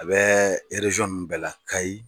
A bɛ ninnu bɛɛ la Kayi